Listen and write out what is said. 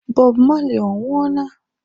Bob Marley ọ nwuọ na?